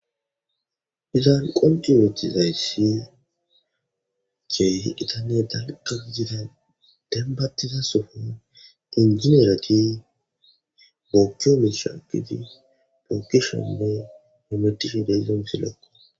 Hizan qondimetizayssi ceh itane dalqab gida denbattiza sofo injineerati boochcho mishaagiti pookishonne nometisi degomsi lokko